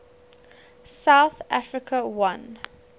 south africa won